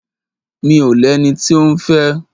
Mi ò lẹni tí òún fẹ́.